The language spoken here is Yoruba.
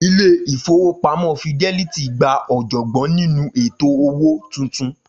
Ilé-ìfowópamó Fidelity gba òjògbọ́n nínú ètò owó tuntun.